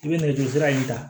I bɛ nɛgɛjurusira in ta